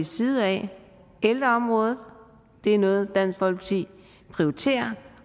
side at ældreområdet er noget dansk folkeparti prioriterer